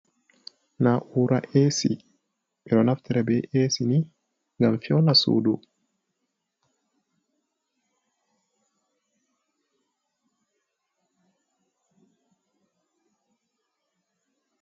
Na'ura esi: Ɓeɗo naftira be esi ni ngam feuna sudu.